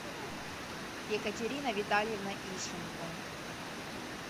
екатерина витальевна ищенко